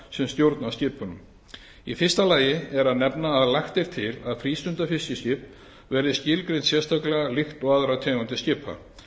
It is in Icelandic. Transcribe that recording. sem stjórna skipunum í fyrsta lagi er að nefna að lagt er til að frístundafiskiskip verði skilgreint sérstaklega líkt og aðrar tegundir skipa